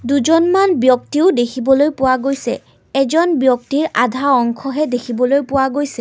দুজনমান ব্যক্তিও দেখিবলৈ পোৱা গৈছে এজন ব্যক্তিৰ আধা অংশহে দেখিবলৈ পোৱা গৈছে।